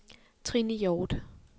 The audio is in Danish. Trine Hjorth